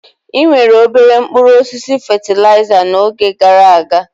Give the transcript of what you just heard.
Enwere obere mkpụrụ osisi fatịlaịza n'oge gara aga.